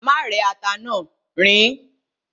Má rẹ́ ata náà, riín.